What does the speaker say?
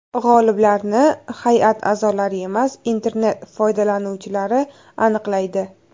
G‘oliblarni hay’at a’zolari emas, internet foydalanuvchilari aniqlaydi.